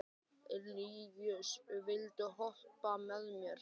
Líus, viltu hoppa með mér?